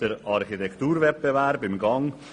Der Architekturwettbewerb ist bereits im Gang.